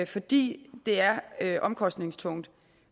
fordi det er omkostningstungt